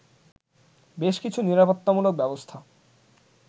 বেশ কিছু নিরাপত্তামূলক ব্যবস্থা